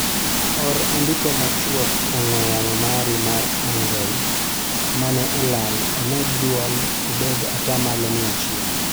Or andiko machwok e ong'we yamo mari mar anroid mane olal omed duol obed atamalo mia achiel